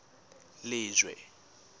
lejwe